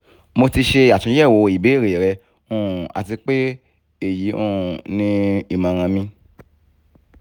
mo ti ṣe atunyẹwo ibeere rẹ um ati pe eyi um ni imọran mi